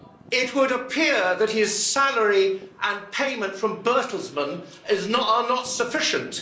It would appear that his salary and payment from Bertelsmann are not sufficient.